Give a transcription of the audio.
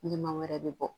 Ɲɛma wɛrɛ bɛ bɔ